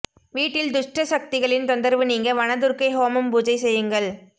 வீட்டில் துஷ்ட சக்திகளின் தொந்தரவு நீங்க வனதுர்க்கை ஹோமம் பூஜை செய்யுங்கள்